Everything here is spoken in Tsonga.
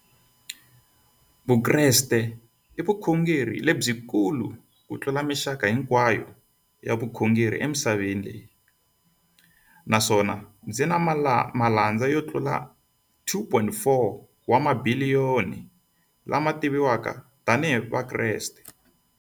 Vukreste i vukhongeri lebyi kulu kutlula mixaka hinkwayo ya vukhongeri emisaveni, naswona byi na malandza yo tlula 2.4 wa tibiliyoni, la ma tiviwaka tani hi Vakreste.